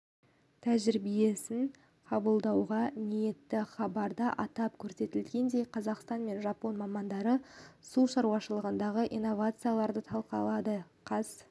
тәжірибесін қабылдауға ниетті хабарда атап көрсетілгендей қазақстан мен жапон мамандары су шаруашылығындағы инновацияларды талқылады қаз